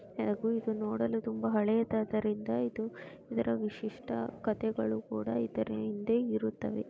ಹಾಗೂ ಇದು ನೋಡಲು ತುಂಬಾ ಹಳೆದಾದರಿಂದ ಇದು ಇದರ ವಿಶಿಷ್ಟ ಕಥೆಗಳು ಕೂಡ ಇದರ ಹಿಂದೆ ಇರುತ್ತವೆ .